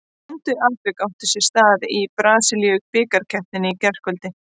Skondið atvik átti sér stað í brasilísku bikarkeppninni í gærkvöldi.